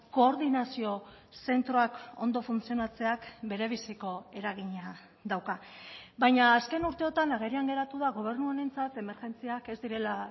koordinazio zentroak ondo funtzionatzeak berebiziko eragina dauka baina azken urteotan agerian geratu da gobernu honentzat emergentziak ez direla